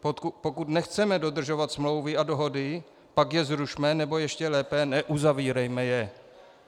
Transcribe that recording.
Pokud nechceme dodržovat smlouvy a dohody, pak je zrušme, nebo ještě lépe, neuzavírejme je.